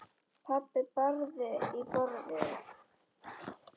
Pabbi barði í borðið.